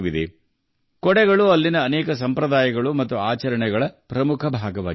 ಛತ್ರಿಗಳು ಅಲ್ಲಿನ ಅನೇಕ ಸಂಪ್ರದಾಯಗಳು ಮತ್ತು ಆಚರಣೆಗಳ ಪ್ರಮುಖ ಭಾಗವಾಗಿವೆ